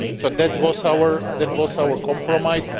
So that was our compromise.